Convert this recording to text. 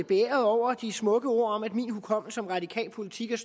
beæret over de smukke ord om at min hukommelse som radikal politiker